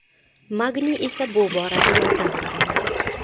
Magniy esa bu borada yordam bera oladi.